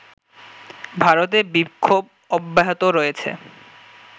ভারতে বিক্ষোভ অব্যাহত রয়েছে